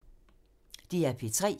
DR P3